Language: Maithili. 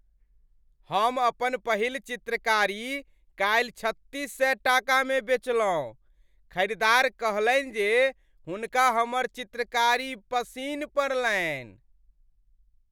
हम अपन पहिल चित्रकारी काल्हि छत्तीस सए टाकामे बेचलहुँ। खरीदार कहलनि जे हुनका हमर चित्रकारी पसिन्न पड़लनि।